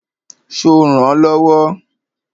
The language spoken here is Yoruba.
Ṣo rànán lọ́wọ́?